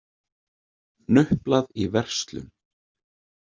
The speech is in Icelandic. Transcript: Hnuplað í verslun.